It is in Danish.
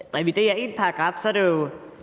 herre